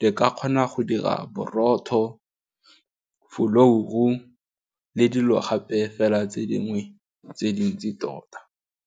di ka kgona go dira borotho folouru, le dilo gape fela tse dingwe tse dintsi tota.